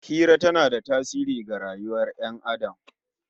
Hira tana da tasiri ga rayuwar Ƴan Adam